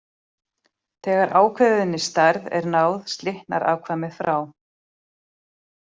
Þegar ákveðinni stærð er náð slitnar afkvæmið frá.